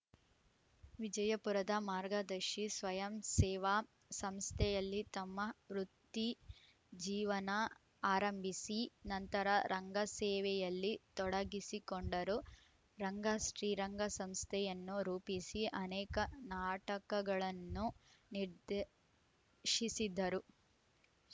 ವಿಜಯಪುರದ ಮಾರ್ಗದರ್ಶಿ ಸ್ವಯಂಸೇವಾ ಸಂಸ್ಥೆಯಲ್ಲಿ ತಮ್ಮ ವೃತ್ತಿ ಜೀವನ ಆರಂಭಿಸಿ ನಂತರ ರಂಗಸೇವೆಯಲ್ಲಿ ತೊಡಗಿಸಿಕೊಂಡರು ರಂಗಶ್ರೀರಂಗ ಸಂಸ್ಥೆಯನ್ನು ರೂಪಿಸಿ ಅನೇಕ ನಾಟಕಗಳನ್ನು ನಿರ್ದೇಶಿಸಿದರು